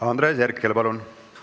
Andres Herkel, palun!